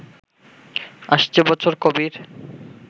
আসছে বছর কবির